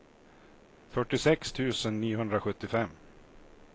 fyrtiosex tusen niohundrasjuttiofem